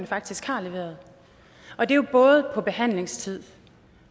faktisk har leveret både på behandlingstid